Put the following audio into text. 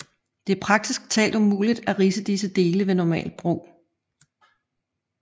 Det er praktisk talt umuligt at ridse disse dele ved normalt brug